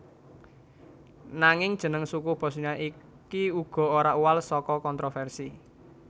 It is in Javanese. Nanging jeneng suku Bosnia iki uga ora uwal saka kontroversi